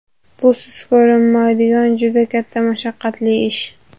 Bu siz ko‘rinmaydigan juda katta, mashaqqatli ish.